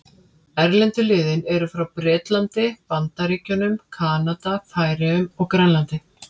Erlendu liðin eru frá Bretlandi, Bandaríkjunum, Kanada, Færeyjum og Grænlandi.